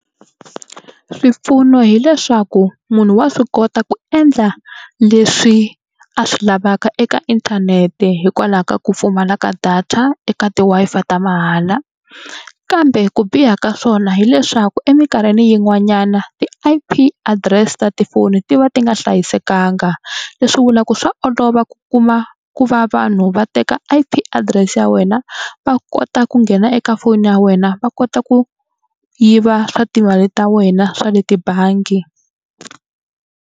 Swipfuno hileswaku munhu wa swi kota ku endla leswi a swi lavaka eka inthanete hikwalaho ka ku pfumala ka data eka ti-Wi-Fi ta mahala kambe ku biha ka swona hileswaku emikarhini yin'wanyana e I_P address ta tifoni ti va ti nga hlayisekanga. Leswi vulaka ku swa olova ku kuma ku va va vanhu va teka I_P adirese ya wena va kota ku nghena eka foni ya wena va kota ku yiva swa timali ta wena swa le tibangi.